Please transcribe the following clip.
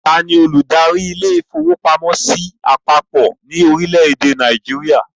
Taani olùdarí ilé-ìfowópamọ́sí àpapọ̀ ni orílẹ̀ èdè Nàìjíríà?